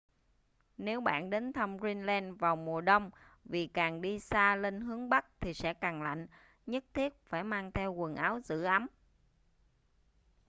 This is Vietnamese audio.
nếu bạn đến thăm greenland vào mùa đông vì càng đi xa lên hướng bắc thì sẽ càng lạnh nhất thiết phải mang theo quần áo giữ ấm